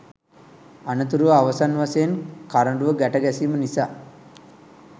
අනතුරුව අවසන් වශයෙන් කරඬුව ගැට ගැසීම නිසා